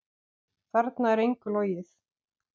Þarna er engu logið.